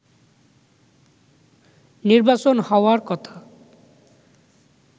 নির্বাচন হওয়ার কথা